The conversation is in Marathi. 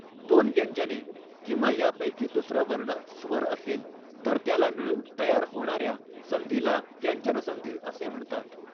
दोन व्यंजने किंवा यापैकी दुसरा वर्ण स्वर असेल तर त्याला मिळून तयार होणाऱ्या संधीला व्यंजनसंधी असे म्हणतात.